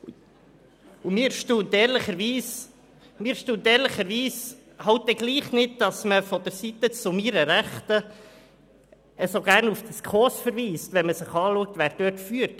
Trotzdem erstaunt es mich ehrlicherweise nicht, dass man von der Seite zu meiner Rechten so gerne auf die SKOS verweist, wenn man sich anschaut, wer diese führt: